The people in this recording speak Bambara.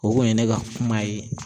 O kun ye ne ka kuma ye